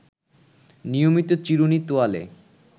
নিয়মিত চিরুনি, তোয়ালে